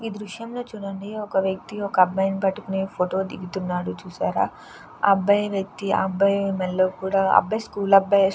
ఈ దృశ్యంలో చూడండి ఒక వ్యక్తి ఒక అబ్బాయిని పట్టుకుని ఫోటో దిగుతున్నాడు చూసారా ఆ అబ్బాయి వ్యక్తి అబ్బాయి మెడలో కూడా అబ్బాయీ స్కూల్ అబ్బాయే.